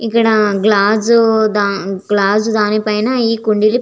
ఇక్కడ glass glass దాని పైన ఈ కుండీలు --